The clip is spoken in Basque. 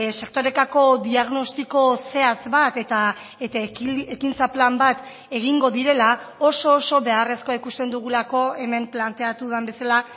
sektorekako diagnostiko zehatz bat eta ekintza plan bat egingo direla oso oso beharrezkoa ikusten dugulako hemen planteatu den bezala